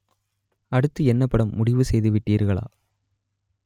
அடுத்து என்ன படம் முடிவு செய்து விட்டீர்களா